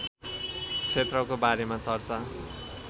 क्षेत्रको बारेमा चर्चा